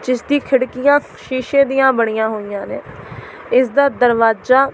ਜਿਸ ਦੀ ਖਿੜਕੀਆਂ ਸ਼ੀਸ਼ੇ ਦੀਆਂ ਬਣੀਆਂ ਹੋਈਆਂ ਨੇ ਇਸ ਦਾ ਦਰਵਾਜ਼ਾ।